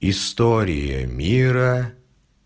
история мира